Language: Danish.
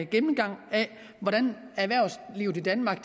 gennemgang af hvordan erhvervslivet i danmark